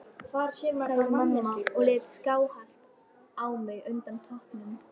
sagði mamma og leit skáhallt á mig undan toppnum.